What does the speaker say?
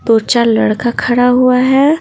दो चार लड़का खड़ा हुआ है।